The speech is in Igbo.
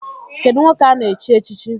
Kedụ nwoke ana-chi echichi?